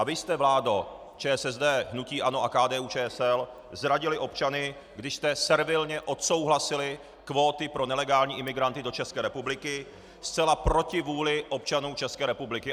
A vy jste, vládo ČSSD, hnutí ANO a KDU-ČSL, zradili občany, když jste servilně odsouhlasili kvóty pro nelegální imigranty do České republiky zcela proti vůli občanů České republiky.